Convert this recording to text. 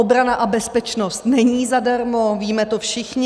Obrana a bezpečnost není zadarmo, víme to všichni.